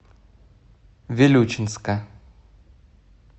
вилючинска